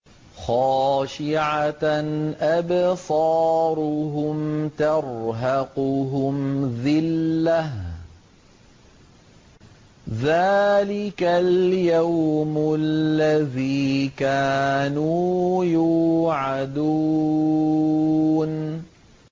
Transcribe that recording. خَاشِعَةً أَبْصَارُهُمْ تَرْهَقُهُمْ ذِلَّةٌ ۚ ذَٰلِكَ الْيَوْمُ الَّذِي كَانُوا يُوعَدُونَ